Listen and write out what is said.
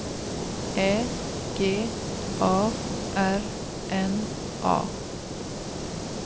Ä G A R N A